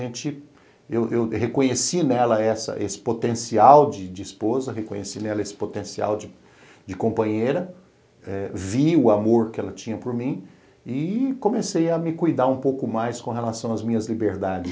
eu eu reconheci nela esse potencial de de esposa, reconheci nela esse potencial de companheira, vi o amor que ela tinha por mim e comecei a me cuidar um pouco mais com relação às minhas liberdades.